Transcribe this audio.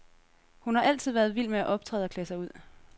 Hun har altid været vild med at optræde og klæde sig ud.,